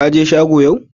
Ka je shego yau?